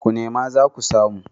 ku neme za ku samu